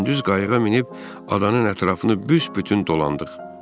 Gündüz qayıqa minib adanın ətrafını büsbütün dolandıq.